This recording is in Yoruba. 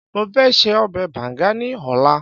mo fẹ se obe banga ni ọlá